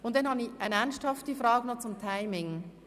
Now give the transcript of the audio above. Dann habe ich noch eine ernsthafte Frage zum Timing.